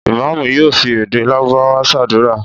Ìmáámù yóò fi èdè Lárúbáwá ṣàdúrà.